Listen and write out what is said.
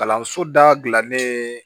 Kalanso da gilannen